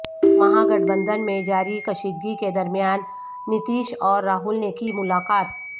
مہاگٹھ بندھن میں جاری کشیدگی کے درمیان نتیش اور راہل نے کی ملاقات